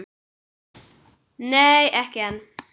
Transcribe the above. Nei, ekki enn.